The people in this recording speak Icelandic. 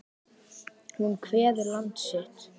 Hún kveður land sitt.